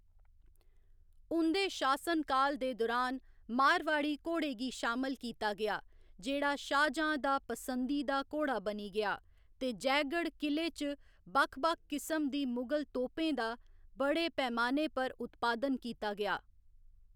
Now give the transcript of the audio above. उं'दे शासनकाल दे दुरान, मारवाड़ी घोड़े गी शामल कीता गेआ, जेह्‌‌ड़ा शाहजांह् दा पसंदीदा घोड़ा बनी गेआ, ते जयगढ़ क़िले च बक्ख बक्ख किसम दी मुगल तोपें दा बड़े पैमाने पर उत्पादन कीता गेआ।